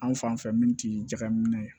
Anw fan fɛ min ti jagaminɛ ye